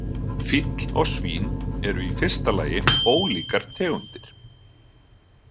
Fíll og svín eru í fyrsta lagi ólíkar tegundir.